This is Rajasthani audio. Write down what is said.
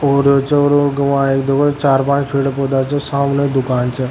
और छोरा छे चार पांच पेड़ पौधा छे सामने दुकान छे।